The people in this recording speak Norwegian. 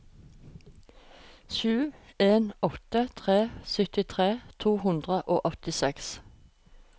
sju en åtte tre syttitre to hundre og åttiseks